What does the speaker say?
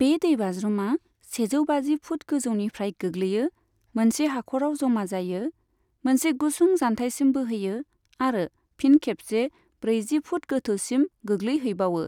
बे दैबाज्रुमा सेजौ बाजि फुट गोजौनिफ्राय गोग्लैयो, मोनसे हाख'राव जमा जायो, मोनसे गुसुं जानथायसिम बोहैयो आरो फिन खेबसे ब्रैजि फुट गोथौसिम गोग्लैहैबावो।